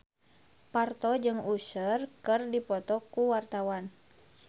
Parto jeung Usher keur dipoto ku wartawan